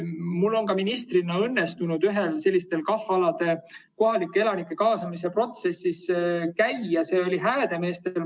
Mul on ministrina õnnestunud KAH‑alade kohalike elanike kaasamise protsessis osaleda, see oli Häädemeestel.